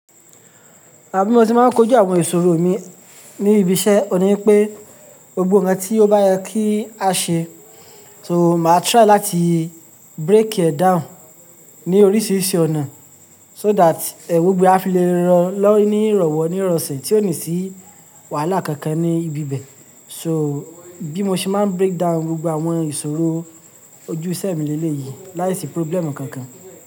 À bí mo ti máa ń kojú àwọn ìṣòro mi ní ibi iṣẹ́, òní pé gbogbo nnkàn tí ó bá yẹ kí a ṣe, so mà try láti break e down ní oríṣiríṣi ọ̀nà so that gbogbo ẹ̀ a fi lè rọ̀ lọ́ ń ní ìrọ̀wọ́ ní ìrọ̀sẹ̀ tí ò ní sí wàhálà kankan ní ibi bẹ̀. So bí mo ṣe máa break down gbogbo àwọn ìṣòro ojú iṣe mi lé lé yìí láìsí problem kankan.